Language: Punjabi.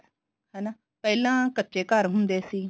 ਹਨਾ ਪਹਿਲਾਂ ਕੱਚੇ ਘਰ ਹੁੰਦੇ ਸੀ